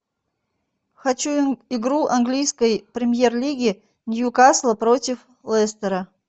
хочу игру английской премьер лиги ньюкасла против лестера